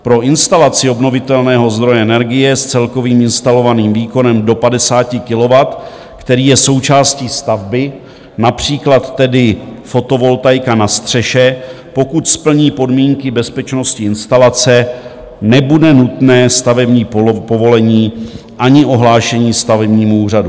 Pro instalaci obnovitelného zdroje energie s celkovým instalovaným výkonem do 50 kW, který je součástí stavby, například tedy fotovoltaika na střeše, pokud splní podmínky bezpečnosti instalace, nebude nutné stavební povolení ani ohlášení stavebnímu úřadu.